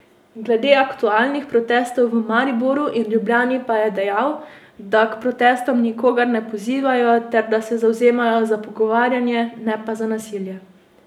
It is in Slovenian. Glede aktualnih protestov v Mariboru in Ljubljani pa je dejal, da k protestom nikogar ne pozivajo ter da se zavzemajo za pogovarjanje, ne pa za nasilje.